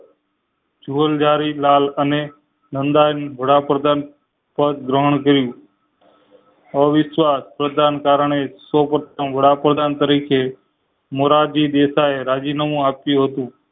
જોલજારી લાલ અને નંદન વડાપ્રધાન પેડ ગ્રહણ કર્યું અવિશ્વાસ પ્રધાન કારણે સૌ પરધામ વડાપ્રધાન તરીકે મોરજી એ રાજીનામુ આપ્યું હતું